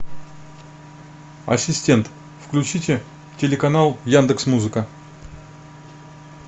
ассистент включите телеканал яндекс музыка